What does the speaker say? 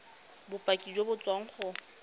bopaki jo bo tswang go